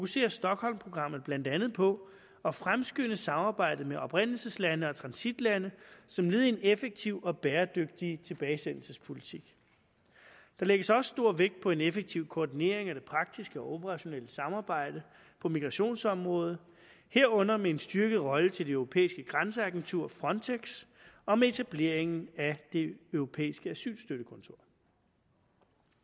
sige at stockholmprogrammet fokuserer blandt andet på at fremskynde samarbejdet med oprindelseslande og transitlande som led i en effektiv og bæredygtig tilbagesendelsespolitik der lægges også stor vægt på en effektiv koordinering af det praktiske og operationelle samarbejde på migrationsområdet herunder med en styrket rolle til det europæiske grænseagentur frontex om etablering af det europæiske asylstøttekontor